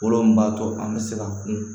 Kolo min b'a to an bɛ se ka kun